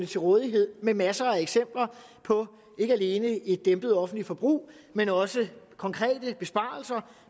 til rådighed med masser af eksempler på ikke alene et dæmpet offentligt forbrug men også konkrete besparelser